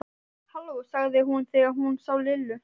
Halló sagði hún þegar hún sá Lillu.